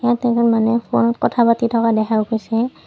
ইয়াত এজন মানুহে ফোনত কথা পাতি থকা দেখা গৈছে।